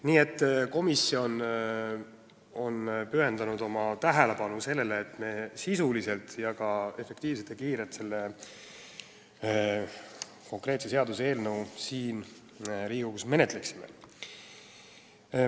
Nii et komisjon on pööranud oma tähelepanu sellele, et me menetleksime seda eelnõu sisuliselt ja efektiivselt.